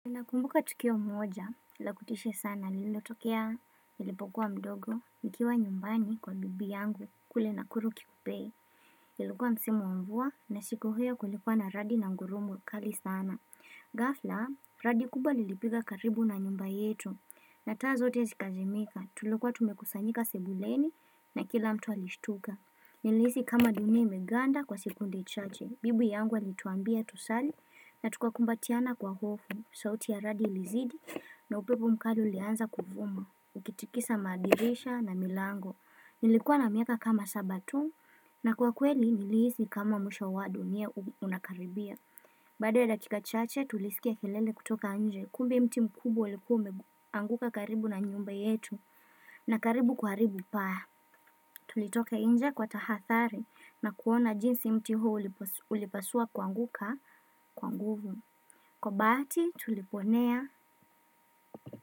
Nakumbuka tukio moja, la kutishia sana, lilo tokea, nilipokuwa mdogo, nikiwa nyumbani kwa bibi yangu, kule nakuru kikopee, ilikuwa msimu wa mvua, na siku hio kulikuwa na radi na ngurumo, kali sana. Gafla, radi kubwa lilipiga karibu na nyumba yetu, na taa zote zikazimika, tulikuwa tumekusanyika sebuleni, na kila mtu alishtuka. Nili hisi kama dunia imeganda kwa sikunde chache bibi yangu alituambia tusali na tukakumbatiana kwa hofu sauti ya radi ilizidi na upepo mkali ulianza kuvuma Ukitikisa madirisha na milango Nilikuwa na miaka kama saba tu na kwa kweli nilihisi kama mwisho wa dunia unakaribia Baada ya dakika chache tulisikia kelele kutoka nje Kumbe mti mkubwa ulikuwa umeanguka karibu na nyumba yetu na karibu kuharibu paa Tulitoka inje kwa tahathari na kuona jinsi mti huo ulipasua kwanguka kwanguvu. Kwa baati tuliponea.